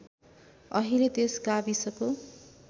अहिले त्यस गाविसको